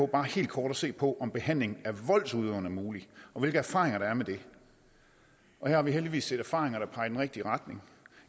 bare helt kort at se på om behandling af voldsudøveren er mulig og hvilke erfaringer der er med det her har vi heldigvis lidt erfaringer der peger i den rigtige retning